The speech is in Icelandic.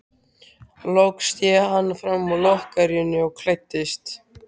Loks sté hann fram úr lokrekkjunni og klæddist.